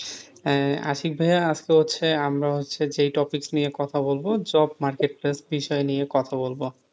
হেঁ, আশিক ভাইয়া আজকে হচ্ছে আমরা হচ্ছে যে topic নিয়ে কথা বলবো job market place বিষয় নিয়ে কথা বলবো,